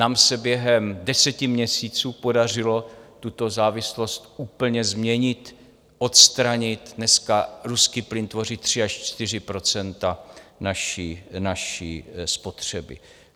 Nám se během deseti měsíců podařilo tuto závislost úplně změnit, odstranit - dneska ruský plyn tvoří 3 až 4 % naší spotřeby.